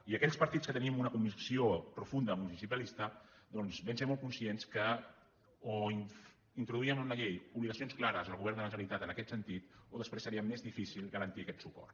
i aquells partits que tenim una convicció profunda municipalista doncs vam ser molt conscients que o introduíem en la llei obligacions clares al govern de la generalitat en aquest sentit o després seria més difícil garantir aquest suport